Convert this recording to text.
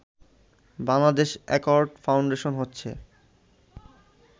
Bangladesh accord foundation হচ্ছে